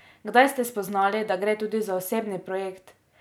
Kdaj ste spoznali, da gre tudi za osebni projekt?